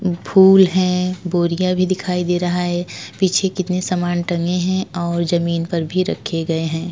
फूल है बोरिया भी दिखाई दे रहा है। पीछे कितने समान टंगे हैं और ज़मीन पर भी रखे गयें हैं।